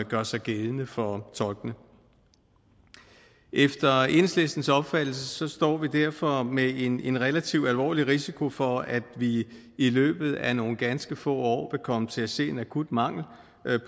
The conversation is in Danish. gør sig gældende for tolkene efter enhedslistens opfattelse står vi derfor med en en relativt alvorlig risiko for at vi i løbet af nogle ganske få år komme til at se en akut mangel